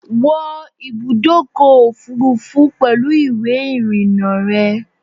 Wọ ibùdókò òfurufú pèlú ìwé ìrìn-na rè